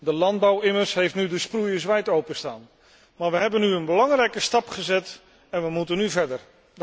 De landbouw immers heeft nu de sproeiers wijd open staan. Maar we hebben nu een belangrijke stap gezet en we moeten nu verder.